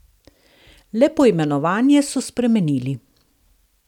Le poimenovanje so spremenili.